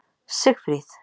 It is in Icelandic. Sigfríð